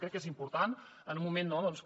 crec que és important en un moment que